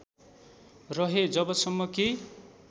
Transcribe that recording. रहे जबसम्म कि